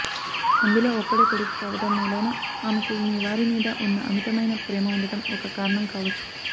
అందులో ఒక్కడే కొడుకు కావటం మూలాన ఆమెకు మీవారి మీద ఉన్న అమితమైన ప్రేమ ఉండటం ఒక కారణం కావచ్చు